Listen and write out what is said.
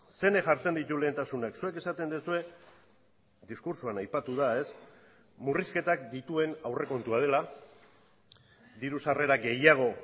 zeinek jartzen ditu lehentasunak zuek esaten duzue diskurtsoan aipatu da murrizketak dituen aurrekontua dela diru sarrera gehiago